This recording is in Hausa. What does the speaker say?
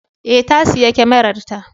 Ee, ta sayi kyamararta.